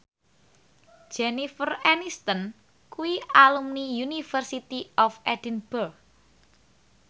Jennifer Aniston kuwi alumni University of Edinburgh